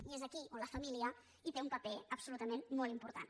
i és aquí on la família hi té un paper absolutament molt important